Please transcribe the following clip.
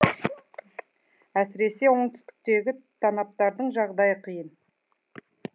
әсіресе оңтүстіктегі танаптардың жағдайы қиын